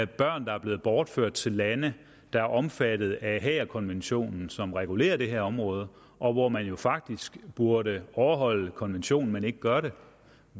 børn der er blevet bortført til lande der er omfattet af haagerkonventionen som regulerer det her område og hvor man jo faktisk burde overholde konventionen men ikke gør det